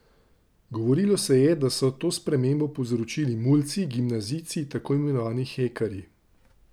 Govorilo se je, da so to spremembo povzročili mulci, gimnazijci, tako imenovani hekerji.